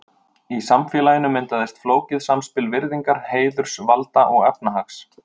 Í samfélaginu myndaðist flókið samspil virðingar, heiðurs, valda og efnahags.